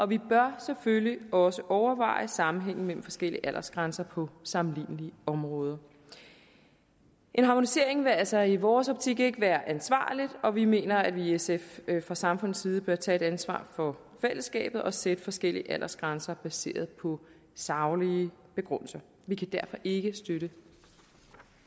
vi bør selvfølgelig også overveje sammenhængen mellem forskellige aldersgrænser på sammenlignelige områder en harmonisering vil altså i vores optik ikke være ansvarligt og vi mener i sf at vi fra samfundets side bør tage et ansvar for fællesskabet og sætte forskellige aldersgrænser baseret på saglige begrundelser vi kan derfor ikke støtte